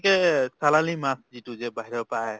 চালানি মাছ যিটো যে বাহিৰৰ পৰাই আহে